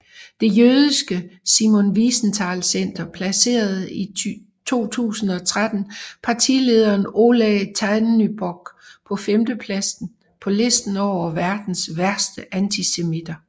Det jødiske Simon Wiesenthalcenter placerede 2013 partilederen Oleh Tjahnybok på femtepladsen på listen over verdens værste antisemitter